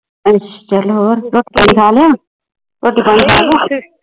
ਅੱਛਾ ਚਲੋ